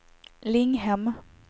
Linghem